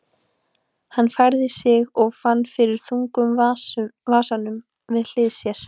Hann færði sig og fann fyrir þungum vasanum við hlið sér.